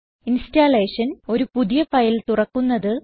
installation ഒരു പുതിയ file തുറക്കുന്നത്